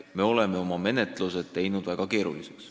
Me oleme oma menetlused teinud väga keeruliseks.